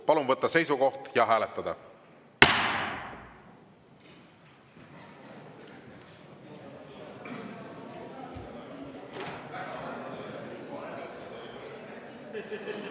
Palun võtta seisukoht ja hääletada!